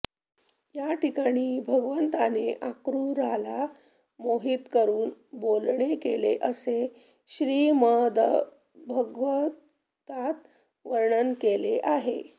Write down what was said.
या ठिकाणी भगवंताने अक्रूराला मोहीत करून बोलणे केले असे श्रीमद्भागवतात वर्णन केले आहे